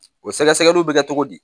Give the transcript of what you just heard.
O sɛgɛsɛgɛliw bɛ kɛ cogo di